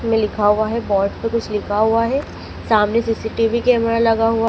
में लिखा हुआ है बोर्ड पे कुछ लिखा हुआ है सामने सी_सी_टी_वी कैमरा लगा हुआ--